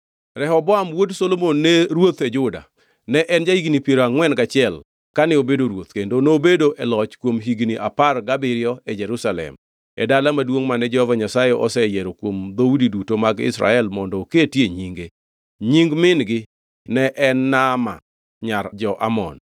Rehoboam wuod Solomon ne ruoth e Juda. Ne en ja-higni piero angʼwen gachiel kane obedo ruoth, kendo nobedo e loch kuom higni apar gabiriyo e Jerusalem, e dala maduongʼ mane Jehova Nyasaye oseyiero kuom dhoudi duto mag Israel mondo oketie Nyinge. Nying min-gi ne en Naama nyar jo-Amon.